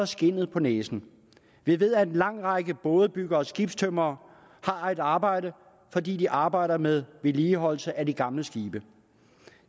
skindet på næsten vi ved at en lang række bådebyggere og skibstømrere har et arbejde fordi de arbejder med vedligeholdelse af de gamle skibe